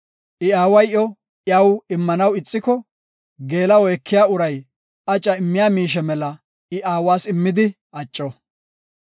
I aaway iyo iyaw immanaw koyona ixiko, geela7o ekiya uray aca immiya miishe mela I aawas immidi acco.